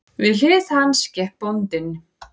Við hlið hans gekk bóndinn.